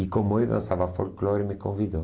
E como eu dançava folclore, me convidou.